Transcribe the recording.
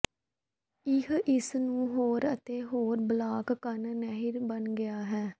ਇਹ ਇਸ ਨੂੰ ਹੋਰ ਅਤੇ ਹੋਰ ਬਲਾਕ ਕੰਨ ਨਹਿਰ ਬਣ ਗਿਆ ਹੈ